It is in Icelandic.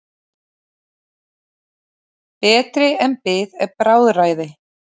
Betri er bið en bráðræði.